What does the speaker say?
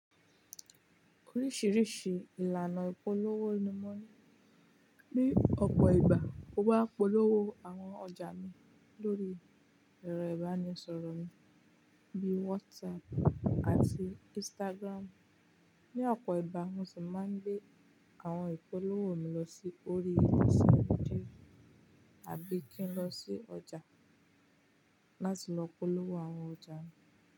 Oríṣìíríṣìí ìlànà ìpolówó ni mo ní. Ni ọ̀pọ̀ ìgbà, mo máa ń polówó àwọn ọjà mi lórí ẹ̀rọ ìbánisọ̀rọ̀ mi bíi WhatsApp àti Instagram. Ni ọ̀pọ̀ ìgbà mo sì máa ń gbé àwọn ìpolówó mi lọ sí orí ilẹ̀ sí ojú, àbí kí n lọ sí ọjà láti lọ polówó àwọn ọjà mi.